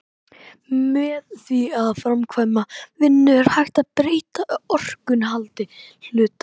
með því að framkvæma vinnu er hægt að breyta orkuinnihaldi hluta